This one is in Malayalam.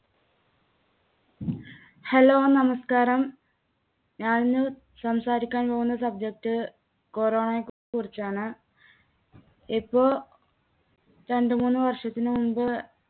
Hello നമസ്‌കാരം. ഞാന് സംസാരിക്കാൻ പോകുന്ന subject corona യെ കു~കുറിച്ചാണ്. ഇപ്പോ രണ്ടുമൂന്ന് വർഷത്തിന് മുൻപ്